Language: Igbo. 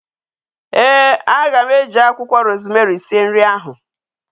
Ee, aga m e ji akwụkwọ rozmerị sie nri ahu